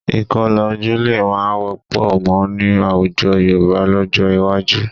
Ìkọlà ojú lè má wọ́pọ̀ mọ́ ní àwùjọ Yorùbá lọ́jọ́ iwájú